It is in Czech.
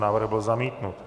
Návrh byl zamítnut.